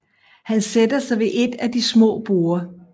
Han sætter sig ved et af de små borde